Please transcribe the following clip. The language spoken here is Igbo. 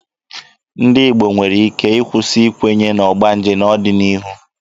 Ndị Igbo nwere ike ịkwụsị ikwenye na ọgbanje n'ọdịnihu.